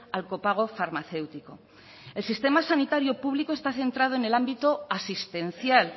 al copago farmacéutico el sistema sanitario público está centrado en el ámbito asistencial